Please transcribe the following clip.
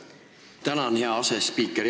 Tänan, hea asespiiker!